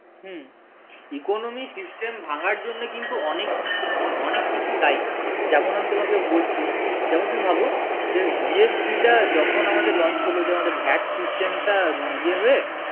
হম economic system ভাঙার জন্য কিন্তু অনেক কিছু দায়ী যেমন আমি তোমাকে বলছি যেমন তুমি ভাবো যে GST টা যখন আমাদের launch করলো যে আমাদের VAT system টা ইয়ে হয়ে